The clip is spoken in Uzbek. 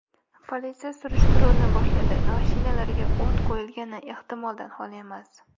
Politsiya surishtiruvni boshladi, mashinalarga o‘t qo‘yilgani ehtimoldan xoli emas.